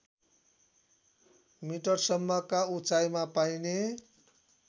मिटरसम्मका उचाइमा पाइने